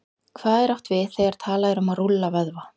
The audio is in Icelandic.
Hvað er átt við, þegar talað er um að rúlla vöðva?